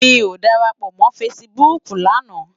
Mi ó dárápò mò fãsibúk làná